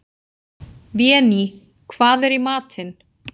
Véný, hvað er í matinn?